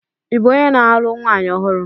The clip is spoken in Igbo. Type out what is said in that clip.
Ị bụ onye na-alụ nwanyị ọhụrụ?